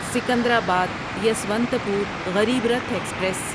Secunderabad Yesvantpur Garib Rath express